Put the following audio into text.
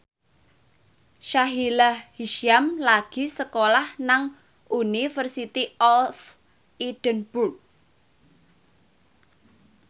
Sahila Hisyam lagi sekolah nang University of Edinburgh